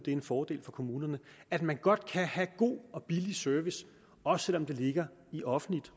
en fordel for kommunerne at man godt kan have god og billig service også selv om det ligger i offentligt